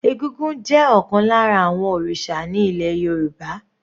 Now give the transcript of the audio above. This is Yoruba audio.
Egúngún jẹ́ ọ̀kan lára àwọn òrìṣà ní ilẹ̀ Yorùbá.